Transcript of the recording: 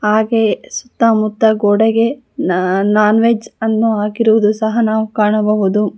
ಹಾಗೆ ಸುತ್ತ ಮುತ್ತ ಗೋಡೆಗೆ ನ ನಾನ್ ವೆಜ್ ಅನ್ನು ಹಾಕಿರುವುದು ಸಹ ನಾವು ಕಾಣಬಹುದು.